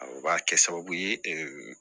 O b'a kɛ sababu ye